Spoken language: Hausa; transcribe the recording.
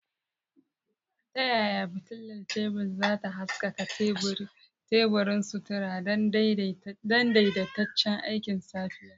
Ta yaya fitilar tebur za ta haskaka teburin sutura don daidaitaccen aikin safiya?